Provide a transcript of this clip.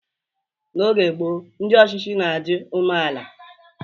N'oge gboo, ndị ọchịchị na-adị umeala.